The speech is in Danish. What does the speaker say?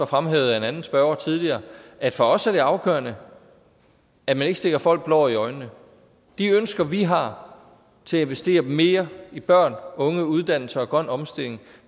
fremhævet af en anden spørger tidligere at for os er det afgørende at man ikke stikker folk blår i øjnene de ønsker vi har til at investere mere i børn unge uddannelser og grøn omstilling